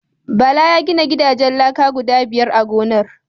Bala ya gina gidajen laka guda biyar a gonar.